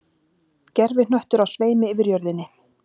Gervihnöttur á sveimi yfir jörðinni.